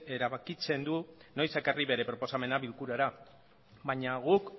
erabakitzen du noiz ekarri bere proposamena bilkurara baina guk